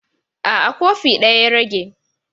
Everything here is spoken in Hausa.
A'a, kofi ɗaya ya rage.